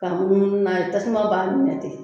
Ka munumunu na ye tasuma b'a minɛ ten.